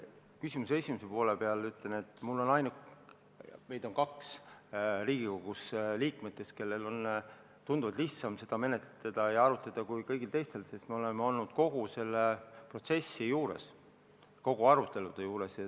Küsimuse esimese poole kohta ütlen, et on kaks Riigikogu liiget, kellel on tunduvalt lihtsam seda eelarvet menetleda ja selle üle arutleda kui kõigil teistel, sest me oleme olnud kogu selle protsessi juures, kõigi arutelude juures.